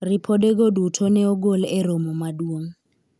ripode go duto ne ogol e romo maduong'